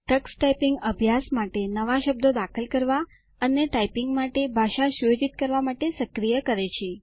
Tux typing અભ્યાસ માટે નવા શબ્દો દાખલ કરો અને ટાઈપીંગ માટે ભાષા સુયોજિત કરવા માટે સક્રિય કરે છે